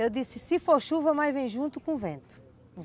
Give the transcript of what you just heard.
Eu disse, se for chuva, mas vem junto com vento.